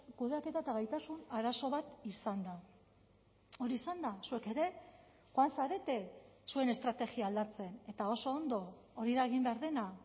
kudeaketa eta gaitasun arazo bat izan da hori izan da zuek ere joan zarete zuen estrategia aldatzen eta oso ondo hori da egin behar dena